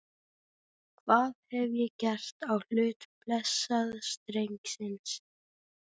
Gaf hann þessari tilhneigingu nafnið andleg fegrun eftir á.